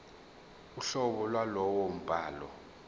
uhlobo lwalowo mbhalo